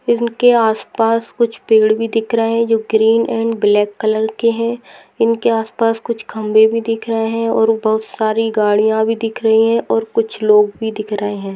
इनके आसपास कुछ पेड़ भी दिख रहे जो ग्रीन अँड ब्लॅक कलर के है इनके आसपास कुछ खंबे भी दिख रहे है और बहुत सारी गाड़िया भी दिख रही है और कुछ लोग भी दिख रहे है।